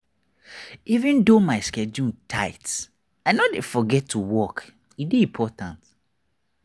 even though my my schedule tight i no dey forget to walk e dey important.